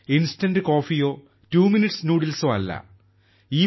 instant കോഫിയോ two minutes ന്യൂഡിൽസോ അല്ല